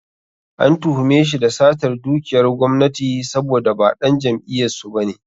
An tuhume shi da satar dukiyar gwamnati saboda ba ɗan jam'iyyar su ba ne.